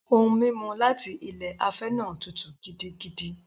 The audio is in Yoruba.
Ohun-mímu láti ilé afẹ́ náà tútù gidigidi.